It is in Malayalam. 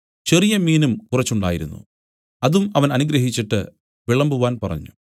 ചെറിയ മീനും കുറച്ച് ഉണ്ടായിരുന്നു അതും അവൻ അനുഗ്രഹിച്ചിട്ട് വിളമ്പുവാൻ പറഞ്ഞു